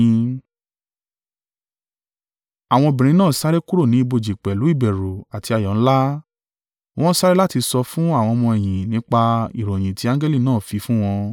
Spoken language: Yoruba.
Àwọn obìnrin náà sáré kúrò ní ibojì pẹ̀lú ìbẹ̀rù àti ayọ̀ ńlá. Wọ́n sáré láti sọ fún àwọn ọmọ-ẹ̀yìn nípa ìròyìn tí angẹli náà fi fún wọn.